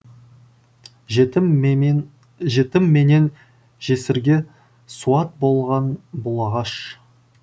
жетім менен жетім менен жесірге суат болған бұл ағаш